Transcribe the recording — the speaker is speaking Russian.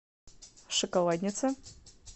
шоколадница